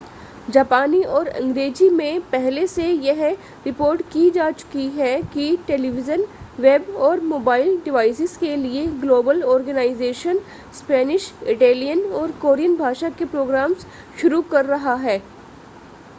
जापानी और अंग्रेज़ी में पहले से यह रिपोर्ट की जा चुकी है कि टेलीविज़न वेब और मोबाइल डिवाइसेस के लिए ग्लोबल ऑर्गनाइज़ेशन स्पेनिश इटैलियन और कोरियन भाषा के प्रोग्राम्स शुरू कर रहा है